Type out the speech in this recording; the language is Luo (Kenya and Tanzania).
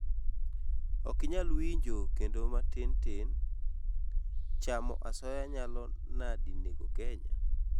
okinyal winjo kendo matin tin:chamo asoya nyalo nadi nego Kenya?